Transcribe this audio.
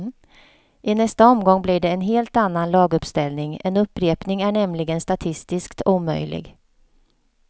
I nästa omgång blir det en helt annan laguppställning, en upprepning är nämligen statistiskt omöjlig.